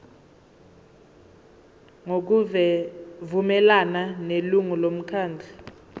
ngokuvumelana nelungu lomkhandlu